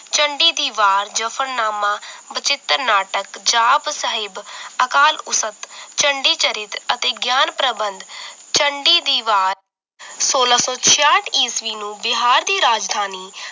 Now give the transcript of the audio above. ਝੰਡੀ ਦੀ ਵਾਰ ਜਫ਼ਰਨਾਮਾ ਵਚਿੱਤਰ ਨਾਟਕ ਜਾਪੁ ਸਾਹਿਬ ਅਕਾਲ ਉਸਟ ਝੰਡੀ ਚਰਿਤ ਅਤੇ ਗਈਆਂ ਪ੍ਰਬੰਧ ਚੰਡੀ ਦੀ ਵਾਰ ਸੋਲਾਂ ਸੌ ਛੇਆਠ ਈਸਵੀ ਨੂੰ ਬਿਹਾਰ ਦੀ ਰਾਜਧਾਨੀ